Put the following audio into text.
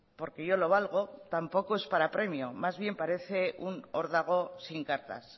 porque yo lo valgo tampoco es para premio más bien parece un órdago sin cartas